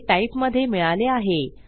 हे टाइप मधे मिळाले आहे